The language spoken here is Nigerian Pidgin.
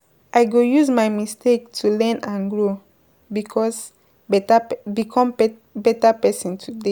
I go use my mistakes to learn and grow, become better person today.